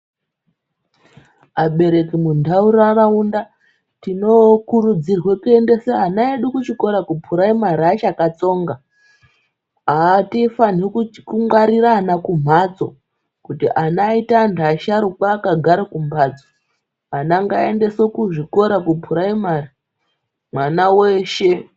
Abereki muntaraunda tinokurudzirwe kuendesa ana edu kuchikora kuphuraimari achakatsonga. Atifaniri kungwarira ana kumhatso kuti ana aite anhu asharukwa akagare kumbatso. Ana ngaaendeswe kuzvikora kuphuraimari, mwana weshe.